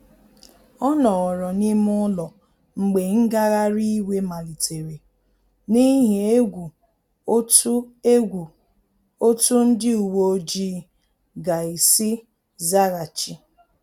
Ọ nọrọ n’ime ụlọ mgbe ngagharị iwe malitere, n’ihi egwu otú egwu otú ndị uweojii ga-esi zaghachi